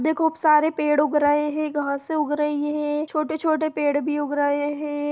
देखो बहुत सारे पेड़ उग्ग रहे है छोटे छोटे पेड़ उग्ग रहे है।